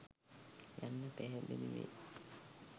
යන්න පැහැදිලි වේ.